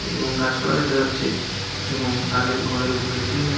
এবং গাছপালা দেখা যাচ্ছে এবং তাদের ঘরের উপরে টিনের--